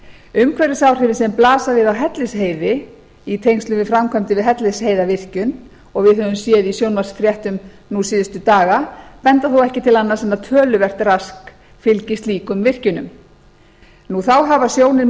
umhverfisáhrifin sem blasa við á hellisheiði í tengslum við framkvæmdir við hellisheiðarvirkjun og við höfum séð í sjónvarpsfréttum nú síðustu daga benda þó ekki til annars en að töluvert rask fylgi slíkum virkjunum þá hafa sjónir